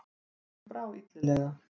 Honum brá illilega.